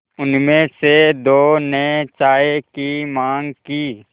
उनमें से दो ने चाय की माँग की